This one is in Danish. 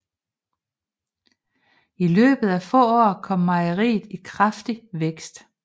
I løbet af få år kom mejeriet i kraftig vækst